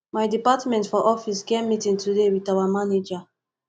my department for office get meeting today wit our manager